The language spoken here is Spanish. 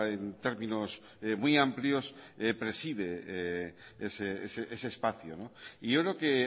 en términos muy amplios preside ese espacio y yo creo que